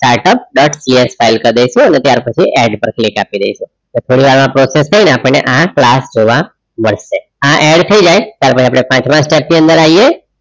startup dot ps file કર ડાઈસુ અને ત્યાર પછી add પર click આપી ડાઈસુ એટલે થોડી વાર માં પ્રોસેસ થઈ ને આપણે આ ક્લાસ જોવા મડસે